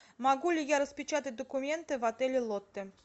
могу ли я распечатать документы в отеле лотте